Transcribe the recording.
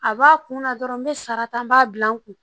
A b'a kun na dɔrɔn n be sara ta n b'a gilan n kun